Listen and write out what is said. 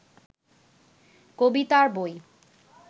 কবিতার বই